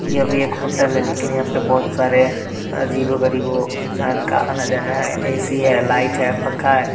यह भी एक होटल है लेकिन यहाँ पर बहुत सारे अजीबो-गरीबो हो इंसान का आना-जाना है ऐ.सी है लाइट है पंखा है।